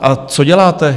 A co děláte?